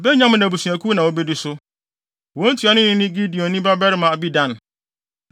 Benyamin abusuakuw na wodi so. Wɔn ntuanoni ne Gideoni babarima Abidan.